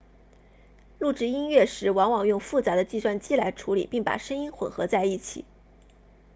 录制音乐时往往用复杂的计算机来处理并把声音混合在一起